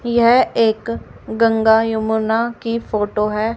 यह एक गंगा यमुना की फोटो है।